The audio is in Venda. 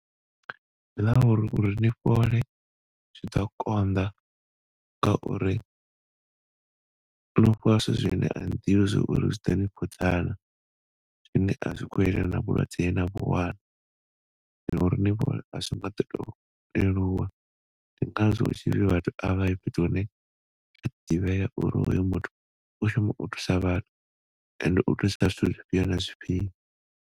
Ndi ḽa uri, uri ni fhole zwiḓo konḓa ngauri no fhiwa zwithu zwine ani ḓivhi zwauri zwiḓo ni fhodza na zwine a zwi khou yelana na vhulwadze he na vhu wana ngauri leluwa ndi ngazwo hu tshipfi vhathu a vha ye fhethu hune ha ḓivhea uri hoyo muthu u shuma u thusa vhathu and u thusa kha zwifhio na zwifhio.